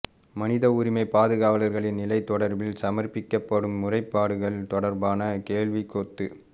மனித உரிமை பாதுகாவலர்களின் நிலை தொடர்பில் சமர்ப்பிக்கப்படும் முறைப்பாடுகள் தொடர்பான கேள்விக்கொத்து